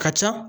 Ka ca